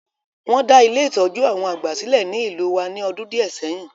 Won da Ile-itọju àwon àgbà silẹ̀ ni ìlú wa ni ọdún díẹ̀ sẹyin.